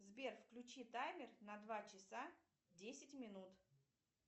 сбер включи таймер на два часа десять минут